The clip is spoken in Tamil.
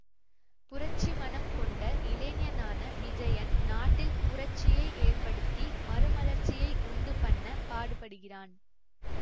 புரட்சி மனம் கொண்ட இளைஞனான விஜயன் நாட்டில் புரட்சியை ஏற்படுத்தி மறுமலர்ச்சியை உண்டு பண்ணப் பாடுபடுகிறான்